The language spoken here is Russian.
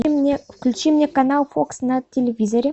включи мне канал фокс на телевизоре